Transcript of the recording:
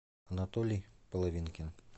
анатолий половинкин